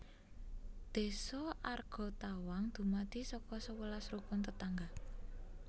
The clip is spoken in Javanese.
Désa Argatawang dumadi saka sewelas Rukun Tetangga